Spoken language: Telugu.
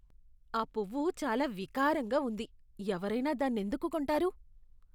ఆ పువ్వు చాలా వికారంగా ఉంది. ఎవరైనా దాన్నెందుకు కొంటారు?